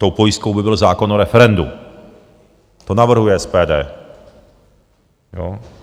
Tou pojistkou by byl zákon o referendu, to navrhuje SPD.